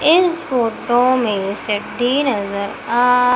इस फोटो में नजर आ--